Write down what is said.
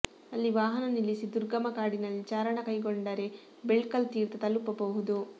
ಅಲ್ಲಿ ವಾಹನ ನಿಲ್ಲಿಸಿ ದುರ್ಗಮ ಕಾಡಿನಲ್ಲಿ ಚಾರಣ ಕೈಗೊಂಡರೆ ಬೆಳ್ಕಲ್ ತೀರ್ಥ ತಲುಪಬಹುದು